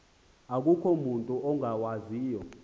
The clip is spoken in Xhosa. akukho mutu ungawaziyo